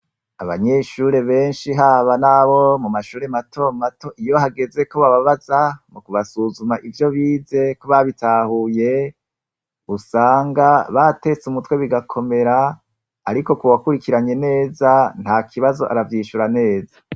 Abanyeshure benshi haba nabo mumashure matomato, iyo hageze ko bababaza mukubasuzuma ivyo bize ko babitahuye, usanga batetse umutwe bigakomera, ariko kuwakurikiranye neza ntakibazo aravyishura neza.